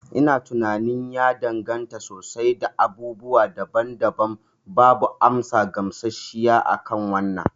Ina tunanin ya danganta sosai da abubuwa daban daban. Babu amsa gamshashshiya akan wannan